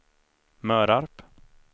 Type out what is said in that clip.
Mörarp